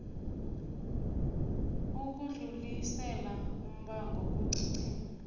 ukudlulisela umbango kuccma